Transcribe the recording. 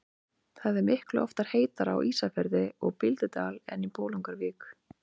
Það er miklu oftar heitara á Ísafirði og Bíldudal en í Bolungarvík.